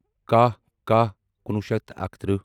کَہہ کَہہ کُنوُہ شیٚتھ تہٕ اکترٕہ